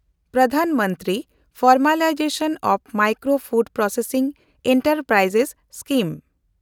Pradhan Mantri formalisation of micro food processing enterprise limited